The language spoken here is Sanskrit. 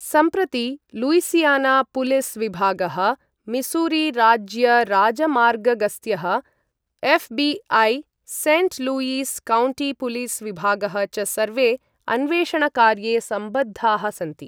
सम्प्रति लुईसियानापुलिसविभागः, मिसूरीराज्यराजमार्गगस्त्यः, एफबीआई, सेण्ट् लुईस् काउण्टीपुलिसविभागः च सर्वे अन्वेषणकार्ये सम्बद्धाः सन्ति ।